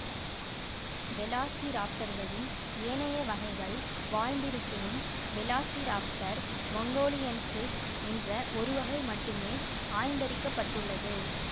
வெலாசிராப்டர்களில் ஏனைய வகைகள் வாழ்ந்திருப்பினும் வெலாசிராப்டர் மங்கோலியன்சிஸ் என்ற ஒரு வகை மட்டுமே ஆய்ந்தறிக்கப்பட்டுள்ளது